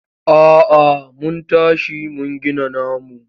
A'a mun tashi mun gina namu.